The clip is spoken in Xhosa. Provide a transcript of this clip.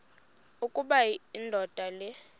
ukuba indoda le